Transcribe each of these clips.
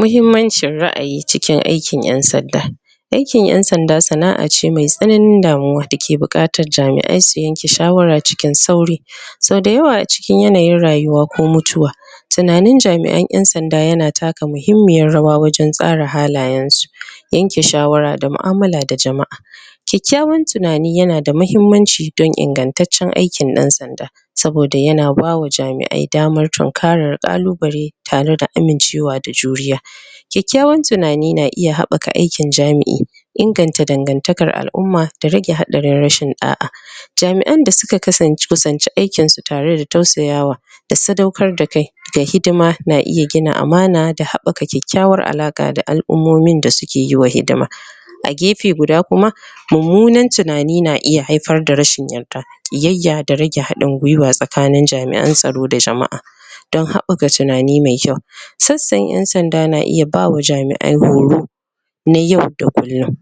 Muhimmancin ra'ayi cikin aikin ƴan sanda. Aikin ɗan sanda sana'a ce mai tsananin damuwa da ke buƙatar jami'ai su yanke shawara cikin sauri Sau da yawa a cikin yanayin rayuwa ko mutuwa tunanin jami'an ƴan sanda yana taka muhimmiyar rawa wajen tsara halayen su. Yanke shawara da mu'amala da jama'a kyakyawar tunani yana muhimmanci don ingantacciyar aikin ɗan sanda saboda yana bawa jama'ai damar tunkarar ƙalubale tare da amincewa da juriya kyakyawan tunani na iya haɓɓaka aikin jami'i inganta dangantakar al'umma da rage haɗarin rashin ɗa'a jami'an da suka fuskanci aikin su tare da tausaya wa da sadaukar da kai da hidima na iya gina amana da haɓɓaka kyakyawan alaƙa da al'umomin da suke yi wa hidima A gefe guda kuma mummunan tunani na iya haifar da rashin yarda ƙiyayya da rage haɗin gwiwa tsakanin jami'an tsaro da jama'a don haɓɓaka tunani mai kyau, sassan ƴan sanda na iya ba ma jami'ai horo na yau da kullum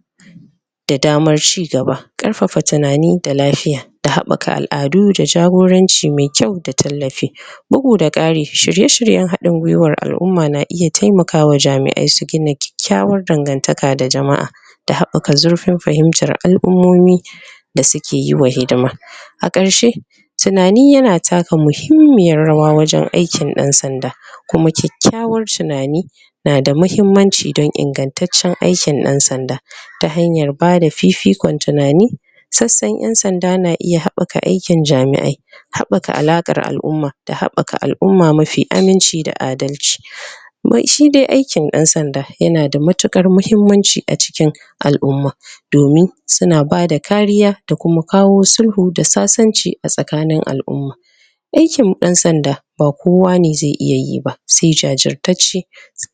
da damar cigaba, ƙarfafa tunani da lafiya da haɓɓaka al'adu da jagoranci mai kyau da tallafi bugu da ƙari shirye-shiryen haɗin gwiwar al'umma na iya taimaka wa jami'ai su gina kyakyawar dangantaka da jama'a da haɓɓaka zurfin fahimtar al'umomi da suke yi wa hidima. A karshe tunani yana taka muhimmiyar rawa wajen aikin ɗan sanda kuma kyakyawar tunani na da muhimmanci da ingantaccen aikin ɗan sanda ta hanyar bada fifikon tunani sassan ƴan sanda na iya haɓɓaka aikin jami'ai haɓɓaka alaƙar al'umma da haɓɓaka al'umma mafi aminci da adalci shi dai aikin ɗan sanda yanada matuƙar muhimmanci a cikin al'umma domin suna bada kariya da kuma kawo sulhu da sasanci a cikin al'umma aikin ɗan sanda ba kowa ne zai iya yi ba sai jajirtacce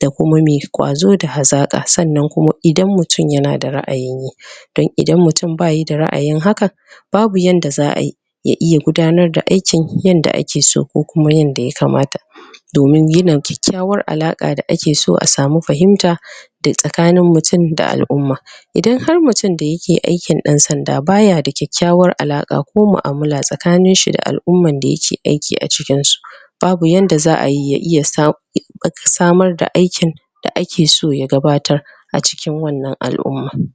da kuma mai kwazo da hazaka sannan kuma idan mutum na da ra'ayin yi don idan mutum bayi da ra'ayin hakan babu yanda za'ayi ya iya gudanar da aikin yanda ake so ko kuma yanda ya kamata domin gina kyakyawa alaƙa da ake so a samu fahimta da tsakanin mutum da al'umma idan har mutumin da yake aikin ɗan sanda bai da kyakyawar alaƙa ko mu'amala a tsakanin al'umman da yake aiki a cikin su babu yanda za'ayi ya iya samar da aikin da yake so ya gabatar acikin wannan al'umman.